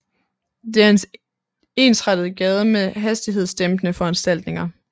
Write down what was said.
Det er en ensrettet gade med hastighedsdæmpende foranstaltninger